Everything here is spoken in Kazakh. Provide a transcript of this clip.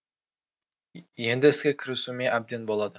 енді іске кірісуіме әбден болады